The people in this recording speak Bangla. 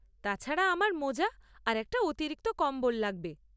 তাছাড়া, আমার মোজা আর একটা অতিরিক্ত কম্বল লাগবে।